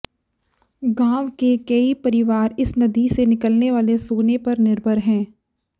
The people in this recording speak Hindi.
गांव के कई परिवार इस नदी से निकलने वाले सोने पर निर्भर हैं